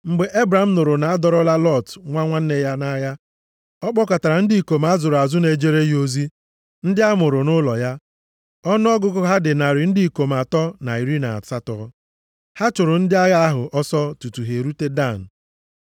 Mgbe Ebram nụrụ na adọrọla Lọt nwa nwanne ya nʼagha, ọ kpọkọtara ndị ikom a zụrụ azụ na-ejere ya ozi, ndị a mụrụ nʼụlọ ya. Ọnụọgụgụ ha dị narị ndị ikom atọ na iri na asatọ, ha chụrụ ndị agha ahụ ọsọ tutu ha erute Dan.